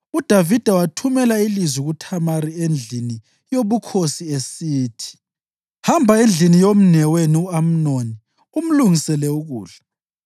UDavida wathumela ilizwi kuThamari endlini yobukhosi esithi: “Hamba endlini yomnewenu u-Amnoni umlungisele ukudla.”